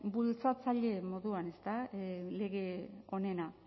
bultzatzaile moduan ezta lege honena